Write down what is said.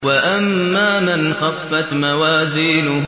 وَأَمَّا مَنْ خَفَّتْ مَوَازِينُهُ